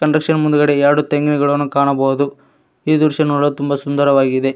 Conduction ಮುಂದುಗಡೆ ಎರಡು ತೆಂಗಿನ ಗಿಡವನ್ನು ಕಾಣಬಹುದು ಈ ದೃಶ್ಯ ನೋಡಲು ತುಂಬಾ ಸುಂದರವಾಗಿದೆ.